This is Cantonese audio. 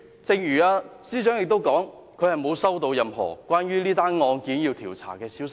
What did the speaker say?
正如司長所說，她沒有接獲任何關於這宗案件要進行調查的消息。